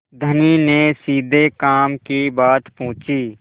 धनी ने सीधे काम की बात पूछी